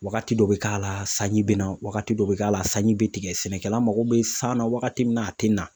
Wagati dɔ bɛ k'a la, sanji bɛ na wagati dɔ k'a la sanji bɛ tigɛ, sɛnɛkɛla mago bɛ san na wagati min na a tɛ na.